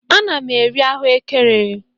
Ana m eri ahụekere.